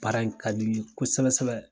Baara in ka di n ye kosɛbɛ sɛbɛ.